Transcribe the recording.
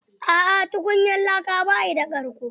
Aa tukunyar laka ba shi da karƙo.